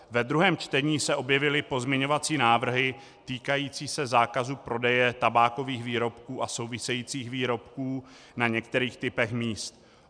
Ve druhém čtení se objevily pozměňovací návrhy týkající se zákazu prodeje tabákových výrobků a souvisejících výrobků na některých typech míst.